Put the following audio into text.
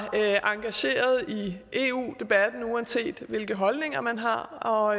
engageret i eu debatten uanset hvilke holdninger man har og